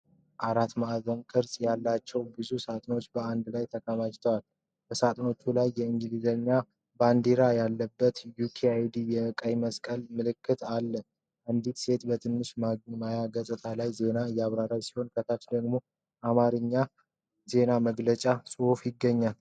አራት ማዕዘን ቅርፅ ያላቸው ብዙ ሳጥኖች በአንድ ላይ ተከማችተዋል። በሳጥኖቹ ላይ የእንግሊዝ ባንዲራ ያለበት "UKaid" ቀይ መስቀል ምልክት አለ። አንዲት ሴት በትንሽ ማያ ገጽ ላይ ዜና እያነበበች ሲሆን፣ ከታች ደግሞ የአማርኛ የዜና መግለጫ ጽሑፍ ይገኛል።